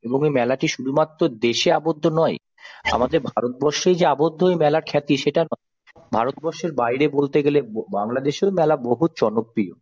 এবং এই মেলাটি শুধুমাত্র দেশে আবদ্ধ নয় আমাদের ভারতবর্ষে যে আবদ্ধ এই মেলার খাতি সেটা নয় ভারতবর্ষের বাইরে বলতে গেলে বা বাংলাদেশে মেলা বহু জনপ্রিয়।